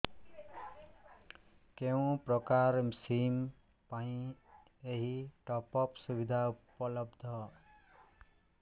କେଉଁ ପ୍ରକାର ସିମ୍ ପାଇଁ ଏଇ ଟପ୍ଅପ୍ ସୁବିଧା ଉପଲବ୍ଧ